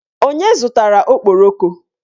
Onye zụtara okporoko?